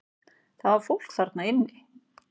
Það var fólk þarna inni!